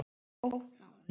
Ógna honum.